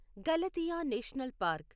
Galatia national park